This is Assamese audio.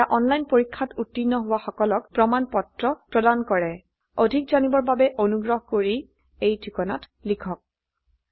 এটা অনলাইন পৰীক্ষাত উত্তীৰ্ণ হোৱা সকলক প্ৰমাণ পত্ৰ প্ৰদান কৰে অধিক জানিবৰ বাবে অনুগ্ৰহ কৰি contactspoken tutorialorg এই ঠিকনাত লিখক